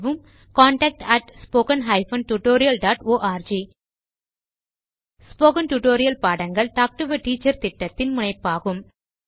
contact spoken hyphen tutorial dot org spoken tutorial பாடங்கள் talk to a teacher திட்டத்தின் முனைப்பாகும்